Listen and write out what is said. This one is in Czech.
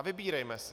A vybírejme si.